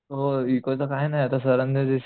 अ इको च काही नाही आता सरांनी